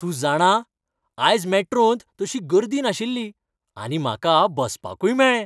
तूं जाणा ,आयज मॅट्रोंत तशी गर्दी नाशिल्ली, आनी म्हाका बसपाकूय मेळ्ळें.